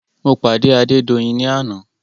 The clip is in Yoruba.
Mo pàdé Adédoyin ní àná.